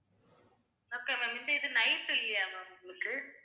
okay ma'am இந்த இது night இல்லையா ma'am உங்களுக்கு